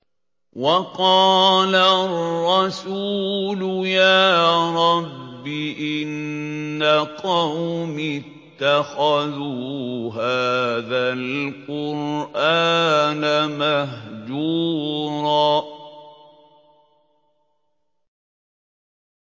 وَقَالَ الرَّسُولُ يَا رَبِّ إِنَّ قَوْمِي اتَّخَذُوا هَٰذَا الْقُرْآنَ مَهْجُورًا